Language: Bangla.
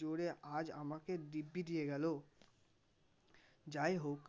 জোরে আজ আমাকে দিব্যি দিয়ে গেল, যাইহোক